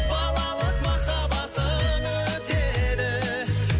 балалық махаббатым өтеді